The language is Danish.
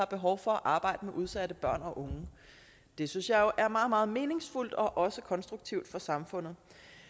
behov for at arbejde med udsatte børn og unge det synes jeg jo er meget meget meningsfuldt og også konstruktivt for samfundet